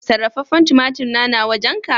Sarrafafen tumatur na, na wajen ka?